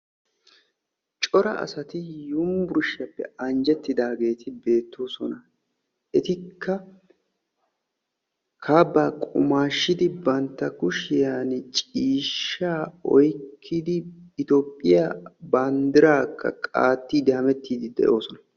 cora asati univurshiyappe anjjettidaageti beettoosona. etikka kaabbaa qumaashshidi bantta kushiyani ciishshaa oyqqidi toophiya banddiraa qaattiiddi hamettiidi de'oosona.